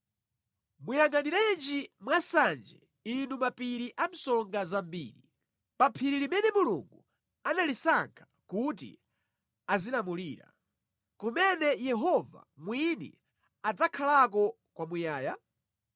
Muyangʼaniranji mwansanje inu mapiri a msonga zambiri, pa phiri limene Mulungu analisankha kuti azilamulira, kumene Yehova mwini adzakhalako kwamuyaya?